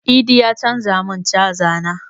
Idi ya canza mun caza na